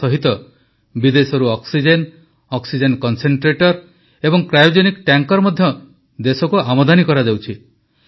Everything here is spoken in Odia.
ଏହା ସହିତ ବିଦେଶରୁ ଅକ୍ସିଜେନ ଅକ୍ସିଜେନ କନ୍ସେନ୍ଟ୍ରେଟର୍ ଏବଂ କ୍ରାୟୋଜେନିକ ଟ୍ୟାଙ୍କର ମଧ୍ୟ ଦେଶକୁ ଆମଦାନୀ କରାଯାଉଛି